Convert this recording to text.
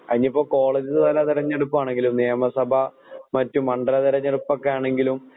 അതിനിപ്പോ കോളേജുതലതിരഞ്ഞെടുപ്പാണെങ്കിലും നിയമസഭ മറ്റുമണ്ഡല തിരഞ്ഞെടുപ്പാണെങ്കിലും